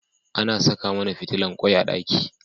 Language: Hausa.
Ana Saka mAna fitilan kwai a daki